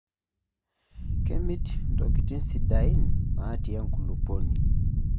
Kemit ntokitin sidaain naatii enkulupuoni.